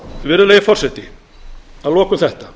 virðulegi forseti að lokum þetta